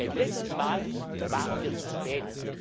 eindeutig. Beim letzten Mal waren